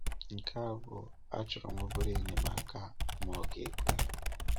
Nke abụ̀o, achọ̀ròm obere enyemaka ma ọ ga-ekwe.